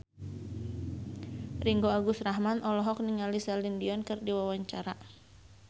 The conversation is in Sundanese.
Ringgo Agus Rahman olohok ningali Celine Dion keur diwawancara